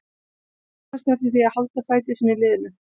Hann vonast eftir því að halda sæti sínu í liðinu.